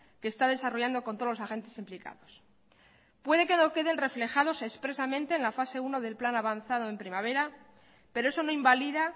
que está desarrollando con todos los agentes implicados puede que no queden reflejados expresamente en la fase uno del plan avanzado en primavera pero eso no invalida